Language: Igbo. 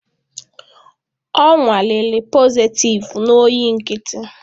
Ọ nwalere positịvu na oyi nkịtị